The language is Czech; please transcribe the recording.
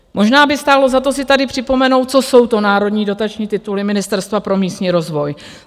Možná by stálo za to si tady připomenout, co jsou to národní dotační tituly Ministerstva pro místní rozvoj.